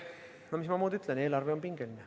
No mis ma muud ütlen: eelarve on pingeline.